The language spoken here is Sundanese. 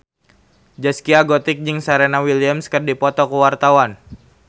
Zaskia Gotik jeung Serena Williams keur dipoto ku wartawan